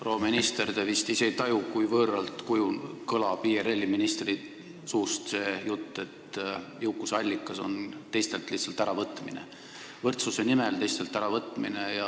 Proua minister, te vist ei taju, kui võõralt kõlab IRL-i ministri suust see jutt, et jõukuse allikas on teistelt võrdsuse nimel äravõtmine.